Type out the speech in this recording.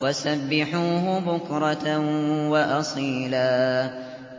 وَسَبِّحُوهُ بُكْرَةً وَأَصِيلًا